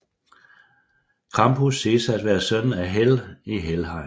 Krampus siges at være søn af Hel i Helheim